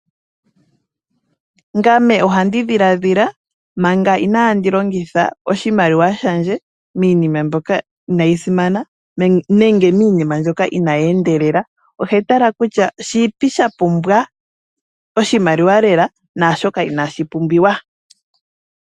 Ngame oha ndi dhilaadhila manga inaandi longitha oshimaliwa shandje miina mbyoka inaayi simana, nenge miinima mbyoka inaayi endelela. Ohetala kutya, shiipi shapumbwa oshimaliwa lela, naashoka inaashi pumbiwa.